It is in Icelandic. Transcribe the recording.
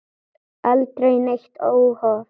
Aldrei neitt óhóf.